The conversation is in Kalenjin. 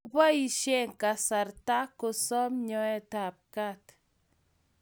Koboisye kasaratak kosom nyoet ap kat.